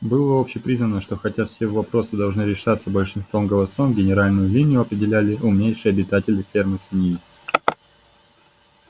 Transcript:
было общепризнано что хотя все вопросы должны решаться большинством голосов генеральную линию определяли умнейшие обитатели фермы свиньи